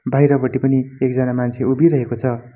बाहिरपट्टि पनि एकजना मान्छे उभिरहेको छ।